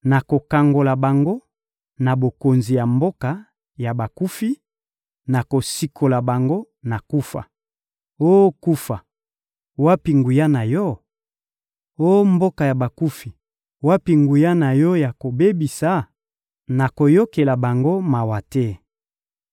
Nakokangola bango na bokonzi ya mboka ya bakufi, nakosikola bango na kufa. Oh kufa, wapi nguya na yo? Oh mboka ya bakufi, wapi nguya na yo ya kobebisa? Nakoyokela bango mawa te!